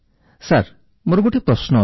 sir ମୋର ଗୋଟିଏ ପ୍ରଶ୍ନ ଅଛି